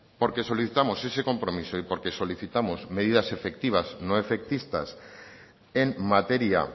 porque solicitamos ese compromiso y porque solicitamos medidas efectivas no efectistas en materia